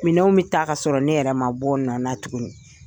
Minɛnw bɛ taa ka sɔrɔ ne yɛrɛ man bɔ n nɔn na tuguni.